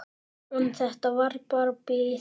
En þetta var bara bið.